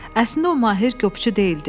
Əslində o Mahir qopçu deyildi.